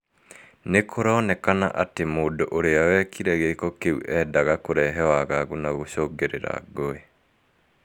Ni kũronekana ati mũndũ ũrĩa wekire giĩko kiu eendaga kũrehe wagagu na gũcũngirira ngũĩ.